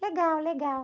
Legal, legal.